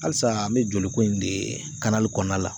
Halisa an bɛ joliko in de kɔnɔna la